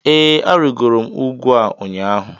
Ee, arịgoro m ugwu a ụnyaahụ